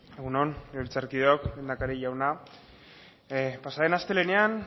egun on legebiltzarkideok lehendakari jauna pasa den astelehenean